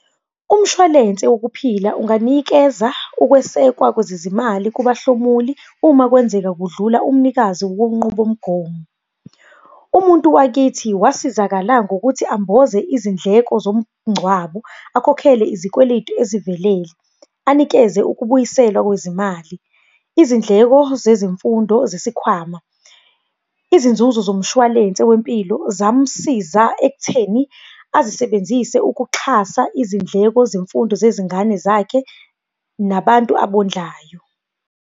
Umshwalense wokuphila unganikeza ukwesekwa kwezezimali kubahlomuli, uma kwenzeka kudlula umnikazi wenqubomgomo. Umuntu wakithi wasizakala ngokuthi amboze izindleko zomngcwabo, akhokhele izikweletu ezivelele, anikeze ukubuyiselwa kwezimali. Izindleko zezimfundo zesikhwama, izinzuzo zomshwalense wempilo zamsiza ekutheni azisebenzise ukuxhasa izindleko zemfundo zezingane zakhe nabantu abondlayo.